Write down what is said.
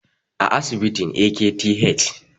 a asibitin AKTH